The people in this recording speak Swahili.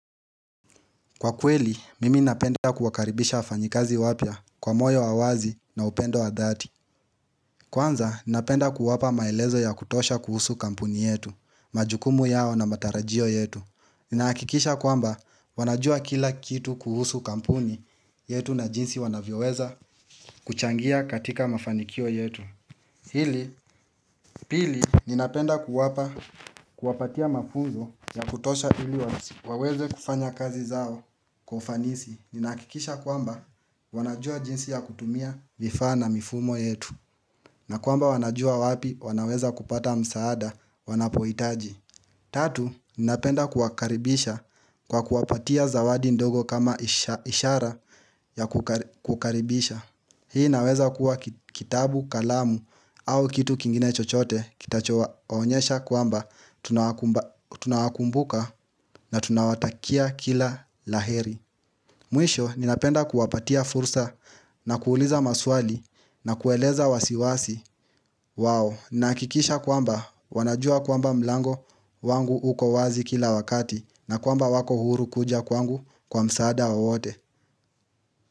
Kwa kweli, mimi napenda kuwakaribisha wafanyikazi wapya kwa moyo wa uwazi na upendo wa dhati Kwanza, ninapenda kuwapa maelezo ya kutosha kuhusu kampuni yetu, majukumu yao na matarajio yetu Ninahakikisha kwamba wanajua kila kitu kuhusu kampuni yetu na jinsi wanavyoweza kuchangia katika mafanikio yetu Hili pili, ninapenda kuwapa kuwapatia mafunzo ya kutosha ili waweze kufanya kazi zao Kwa ufanisi, ninahakikisha kwamba wanajua jinsi ya kutumia vifaa na mifumo yetu na kwamba wanajua wapi wanaweza kupata msaada wanapohitaji Tatu, ninapenda kuwakaribisha kwa kuwapatia zawadi ndogo kama ishara ya kukaribisha Hii naweza kuwa kitabu kalamu au kitu kingine chochote kitachowaonyesha kwamba tunawakumbuka na tunawatakia kila laheri Mwisho, ninapenda kuwapatia fursa na kuuliza maswali na kueleza wasiwasi. Wow, ninahakikisha kwamba wanajua kwamba mlango wangu uko wazi kila wakati na kwamba wako huru kuja kwangu kwa msaada wowote.